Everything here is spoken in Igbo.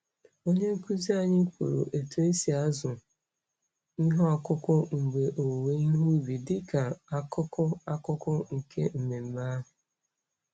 Onye nkuzi anyị kwuru otu esi azụ ihe ọkụkụ mgbe owuwe ihe ubi dịka akụkụ akụkụ nke mmemme ahụ.